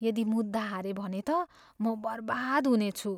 यदि मुद्दा हारेँ भने त म बर्बाद हुनेछु।